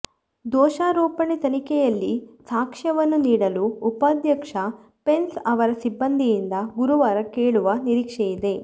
ದೋಷಾರೋಪಣೆ ತನಿಖೆಯಲ್ಲಿ ಸಾಕ್ಷ್ಯವನ್ನು ನೀಡಲು ಉಪಾಧ್ಯಕ್ಷ ಪೆನ್ಸ್ ಅವರ ಸಿಬ್ಬಂದಿಯಿಂದ ಗುರುವಾರ ಕೇಳುವ ನಿರೀಕ್ಷೆಯಿದೆ